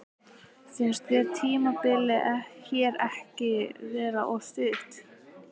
Finnst þér tímabilið hér ekki vera of stutt?